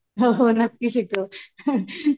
हो हो नक्की शिकव